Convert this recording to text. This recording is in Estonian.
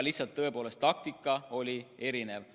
Lihtsalt tõepoolest taktika oli erinev.